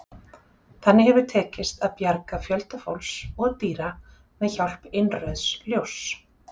Þannig hefur tekist að bjarga fjölda fólks og dýra með hjálp innrauðs ljóss.